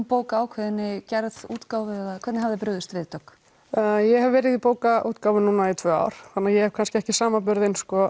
bóka ákveðinni gerð útgáfu eða hvernig hafið þið brugðist við Dögg ég hef verið í bókaútgáfu núna í tvö ár þannig ég hef kannski ekki samanburð